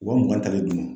Wa mugan ta de dun